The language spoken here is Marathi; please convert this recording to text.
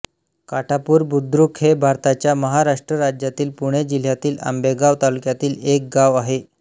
काठापूर बुद्रुक हे भारताच्या महाराष्ट्र राज्यातील पुणे जिल्ह्यातील आंबेगाव तालुक्यातील एक गाव आहे